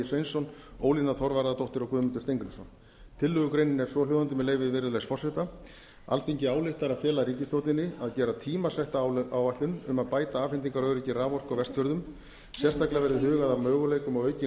sveinsson ólína þorvarðardóttir og guðmundur steingrímsson tillögugreinin er svohljóðandi með leyfi virðulegs forseta alþingi ályktar að fela ríkisstjórninni að gera tímasetta áætlun um að bæta afhendingaröryggi raforku á vestfjörðum sérstaklega verði hugað að möguleikum á aukinni